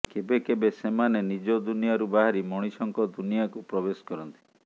କେବେ କେବେ ସେମାନେ ନିଜ ଦୁନିଆରୁ ବାହାରି ମଣିଷଙ୍କ ଦୁନିଆକୁ ପ୍ରବେଶ କରନ୍ତି